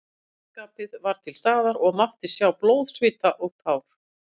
Keppnisskapið var til staðar og mátti sjá blóð, svita og tár.